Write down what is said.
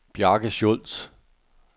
Bjarke Schulz